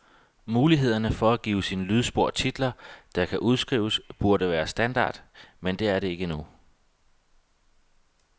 Mulighederne for at give sine lydspor titler, der kan udskrives, burde være standard, men er det ikke endnu.